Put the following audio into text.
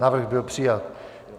Návrh byl přijat.